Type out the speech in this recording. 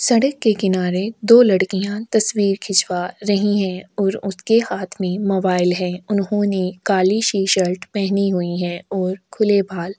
सड़क के किनारे दो लड़किया तस्वीर खिंचवा रही है और उसके हाथ में मोबाइल है उन्होंने काली टी शर्ट पहनी हुई है और खुले बाल--